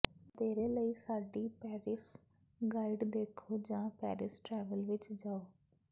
ਵਧੇਰੇ ਲਈ ਸਾਡੀ ਪੈਰਿਸ ਗਾਈਡ ਦੇਖੋ ਜਾਂ ਪੈਰਿਸ ਟ੍ਰੈਵਲ ਵਿੱਚ ਜਾਓ